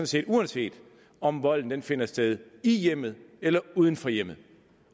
set uanset om volden finder sted i hjemmet eller uden for hjemmet